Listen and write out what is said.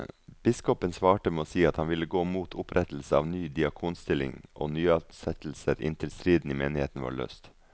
Biskopen svarte med å si at han ville gå mot opprettelse av ny diakonstilling og nyansettelser inntil striden i menigheten var løst.